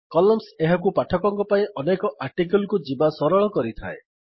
columns ଏହାକୁ ପାଠକଙ୍କ ପାଇଁ ଅନେକ ଆର୍ଟିକିଲ୍ କୁ ଯିବା ସରଳ କରିଥାଏ